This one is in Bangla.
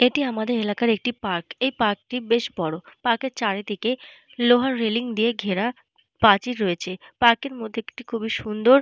এটি আমাদের এলাকার একটি পার্ক । এই পার্ক টি বেশ বড়। পার্ক -এর চারিদিকে লোহার রেলিং দিয়ে ঘেরা প্রাচীর রয়েছে। পার্ক এর মধ্যে একটি খুবই সুন্দর।